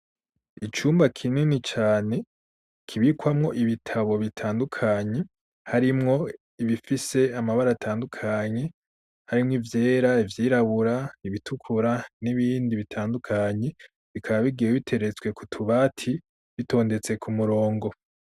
Icumba kinini cane kibikwamwo ibitabo bitandukanye harimwo ibifise amabara atandukanye harimwo ivyera ivyirabura ibitukura n'ibindi bitandukanyi bikaba bigiwe biteretswe ku tubati bitondetse ku murongo.